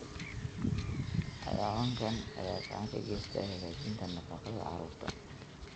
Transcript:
Xayawaankan ayaa gacan ka geysta hagaajinta nafaqada carruurta.